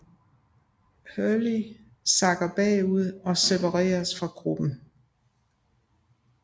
Hurley sakker bagud og separeres fra gruppen